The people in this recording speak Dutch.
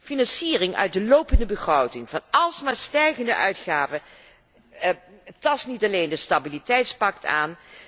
Financiering uit de lopende begroting van almaar stijgende uitgaven tast niet alleen het stabiliteitspact aan.